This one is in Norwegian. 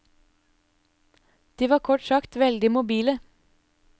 De var kort sagt veldig mobile.